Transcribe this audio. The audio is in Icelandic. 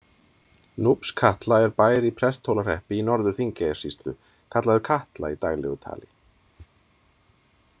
Núpskatla er bær í Presthólahreppi í Norður-Þingeyjarsýslu, kallaður Katla í daglegu tali.